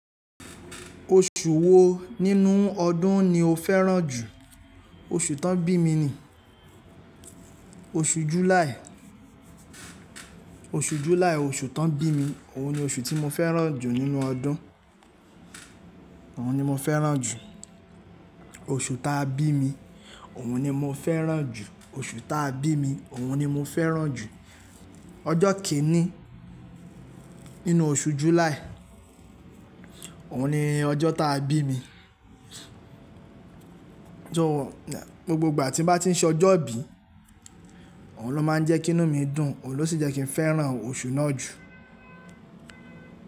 Oṣù wo nínú ọdún ni o fẹ́ràn jù? Oṣù tán bímini, oṣù Júláì. Oṣù Júláì oṣù tán bímini, òun ni oṣù tí mo fẹ́ràn jù nínú ọdún. Òun ni mo fẹ́ràn jù. Oṣù ta bí mi, òun ni mo fẹ́ràn jù. Oṣù ta bí mi, òun ni mo fẹ́ràn jù. Ọjọ́ kẹ́rin nínú oṣù Júláì, òun ni ọjọ́ ta bí mi. Gbogbo ìgbà tí n bá ti ń ṣe ọjọ́ ìbí, òun ló máa ń jẹ́ kí inú mi dùn, òun ló sì jẹ́ kí n fẹ́ràn oṣù náà jù.